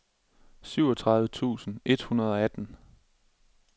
syvogtredive tusind et hundrede og atten